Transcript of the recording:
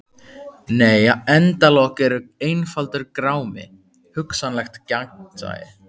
Nei endalok eru einfaldur grámi: hugsanlegt gagnsæi.